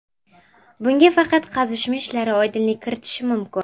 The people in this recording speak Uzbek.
Bunga faqat qazishma ishlari oydinlik kiritishi mumkin.